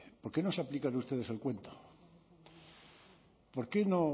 por qué no se aplican ustedes el cuento por qué no